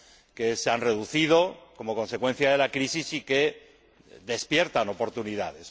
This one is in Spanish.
que se han reducido como consecuencia de la crisis y que despiertan oportunidades.